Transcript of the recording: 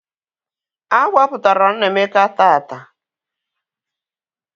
A gbapụtara Nnaemeka taata